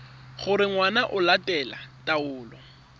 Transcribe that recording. gore ngwana o latela taelo